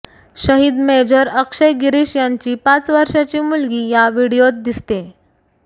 शहीद मेजर अक्षय गिरीश यांची पाच वर्षाची मुलगी या व्हिडिओत दिसतेय